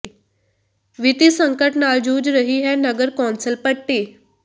ਵਿੱਤੀ ਸੰਕਟ ਨਾਲ ਜੂਝ ਰਹੀ ਹੈ ਨਗਰ ਕੌਂਸਲ ਪੱਟੀ